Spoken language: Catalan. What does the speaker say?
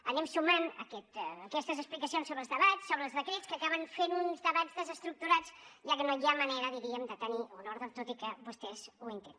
anem sumant aquestes explicacions sobre els debats sobre els decrets que acaben fent uns debats desestructurats ja que no hi ha manera diríem de tenir un ordre tot i que vostès ho intenten